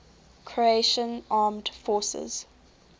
croatian armed forces